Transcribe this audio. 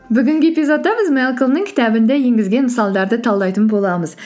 бүгінгі эпизодта біз мэлколмның кітабында енгізген мысалдарды талдайтын боламыз